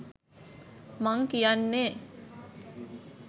මං කියන්නේ